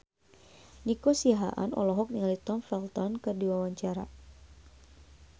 Nico Siahaan olohok ningali Tom Felton keur diwawancara